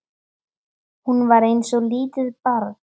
Hún var eins og lítið barn.